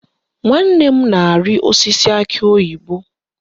Nwanne m na-arị osisi akị oyibo